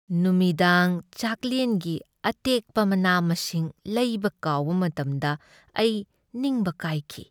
ꯅꯨꯃꯤꯗꯥꯡ ꯆꯥꯛꯂꯦꯟꯒꯤ ꯑꯇꯦꯛꯄ ꯃꯅꯥ ꯃꯁꯤꯡꯁꯤꯡ ꯂꯩꯕ ꯀꯥꯎꯕ ꯃꯇꯝꯗ ꯑꯩ ꯅꯤꯡꯕ ꯀꯥꯏꯈꯤ ꯫